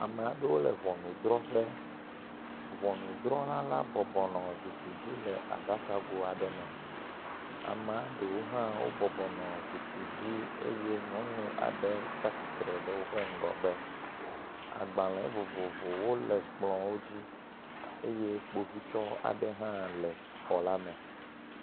Ame aɖewo le ŋɔnudrɔƒe. Ŋɔnudrɔla la bɔbɔnɔ zikpui dzi le aɖakago aɖe me. Amea ɖewo hã bɔbɔnɔ zikpui dzi eye nyɔnu aɖe tsi atsitre ɖe woƒe ŋgɔgbe. Agbale vovovowo le kplɔwo dzi eye kpovitɔ aɖe hã le xɔ la me.